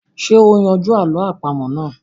Ṣé o yanjú àlọ́ àpamọ́ náà?